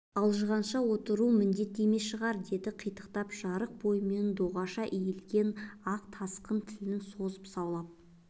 алжығанша отыру міндет емес шығар деді қитығып жарық бойымен доғаша иілген ақ тасқын тілін созып саулап